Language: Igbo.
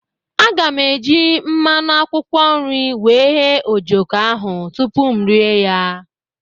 Aga m eji mmanụ akwụkwọ nri wee ghee ojoko ahụ tupu m rie ya.